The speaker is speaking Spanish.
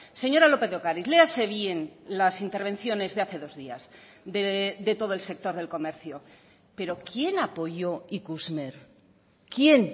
señora lópez de ocariz léase bien las intervenciones de hace dos días de todo el sector del comercio pero quién apoyó ikusmer quién